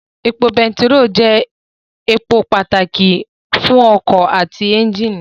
Epo bẹntiró jẹ́ èpò pàtàkì fún ọkọ̀ àti ẹ́njìnì